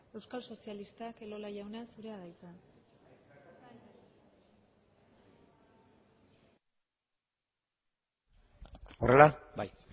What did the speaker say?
euskal sozialistak elola jauna zurea da hitza horrela bai